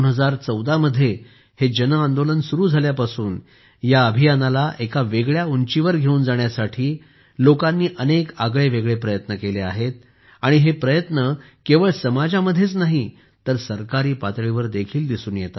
2014 मध्ये हे जन आंदोलन सुरु झाल्यापासून या अभियानाला एका वेगळ्या उंचीवर घेऊन जाण्यासाठी लोकांनी अनेक आगळेवेगळे प्रयत्न केले आहेत आणि हे प्रयत्न केवळ समाजामध्येच नाही तर सरकारी पातळीवर देखील दिसून येत आहेत